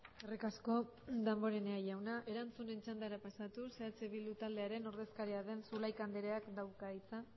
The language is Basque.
eskerrik asko damborenea jauna erantzunen txandara pasatuz eh bildu taldearen ordezkaria den zulaika andreak dauka hitza